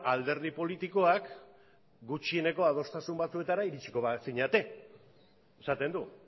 alderdi politikoak gutxieneko adostasun batetara iritsiko bazinete esaten du